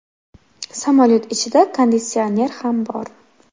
Samolyot ichida konditsioner ham bor.